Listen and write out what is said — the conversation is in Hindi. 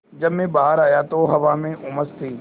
जब मैं बाहर आया तो हवा में उमस थी